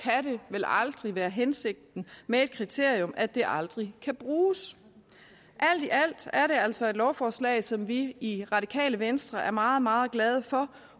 vel aldrig være hensigten med et kriterium at det aldrig kan bruges alt i alt er det altså et lovforslag som vi i radikale venstre er meget meget glade for